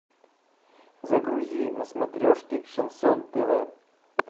загрузи на смотрешке шансон тв